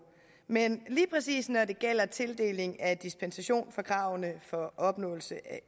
men lige præcis når det gælder tildeling af dispensation fra kravene for opnåelse af